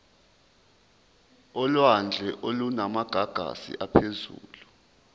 olwandle olunamagagasi aphezulu